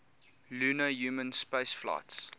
lunar human spaceflights